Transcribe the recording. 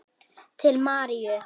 Til Maríu.